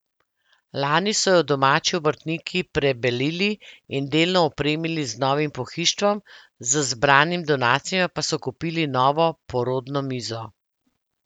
Lani so jo domači obrtniki prebelili in delno opremili z novim pohištvom, z zbranimi donacijami pa so kupili novo porodno mizo.